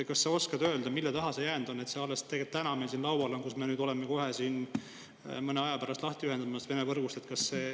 Kas sa oskad öelda, mille taha see on jäänud ja miks on see eelnõu alles täna meil siin laual – nüüd, kui me kohe varsti, mõne aja pärast ühendame ennast Vene võrgust lahti?